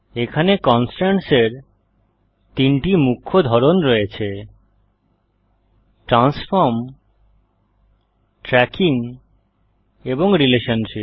এখানে কন্সট্রেন্টসের তিনটি মুখ্য ধরন রয়েছে ট্রান্সফর্ম ট্র্যাকিং এবং রিলেশনশিপ